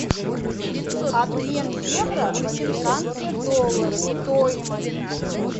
обмен евро в американские доллары стоимость